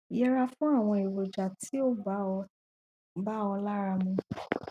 yẹra fún àwọn èròjà tí ò bá ọ bá ọ lára mu